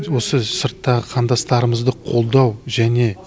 осы сырттағы қандастарымызды қолдау және